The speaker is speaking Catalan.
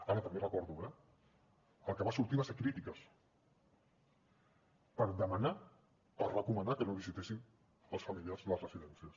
ara també recordo eh que el que va sortir van ser crítiques per demanar per recomanar que no es visitessin els familiars a les residències